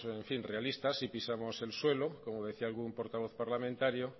realistas y pisamos el suelo como decía algún portavoz parlamentario